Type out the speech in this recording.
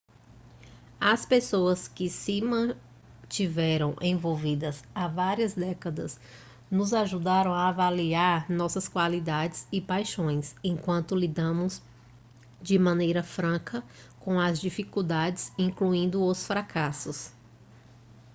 as pessoas que se mantiveram envolvidas há várias décadas nos ajudaram a avaliar nossas qualidades e paixões enquanto lidamos de maneira franca com as dificuldades incluindo os fracassos